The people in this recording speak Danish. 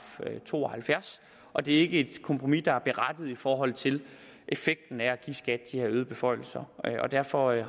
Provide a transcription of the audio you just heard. to og halvfjerds og det er ikke et kompromis der er berettiget i forhold til effekten af at give skat de her øgede beføjelser og jeg har derfor